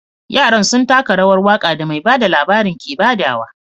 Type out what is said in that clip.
Yaran sun taka rawar waka da mai bada labarin ke badawa.